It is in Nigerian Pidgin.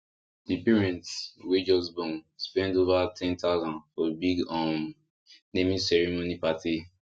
the parents wey just born spend over 10000 for big um naming ceremony party